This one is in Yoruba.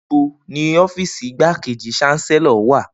Nibo ni ọfiisi Igbakeji Chancellor wa?